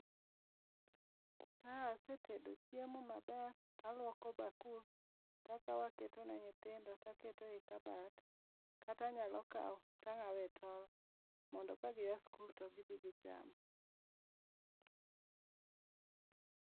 Ka asetedo chiemo maber, taluoko bakul, takao aketo ne nyithindo, taketo e kabat. Kata anyalo kao, tangáo e tol, mondo kagia skul to gibii gicham